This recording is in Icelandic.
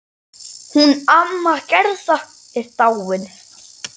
Hún amma Gerða er dáin.